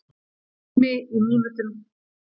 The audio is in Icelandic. Tími í mínútum.